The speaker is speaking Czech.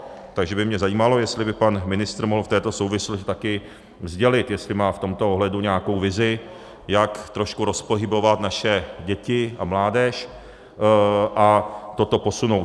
Takže by mě zajímalo, jestli by pan ministr mohl v této souvislosti taky sdělit, jestli má v tomto ohledu nějakou vizi, jak trošku rozpohybovat naše děti a mládež a toto posunout.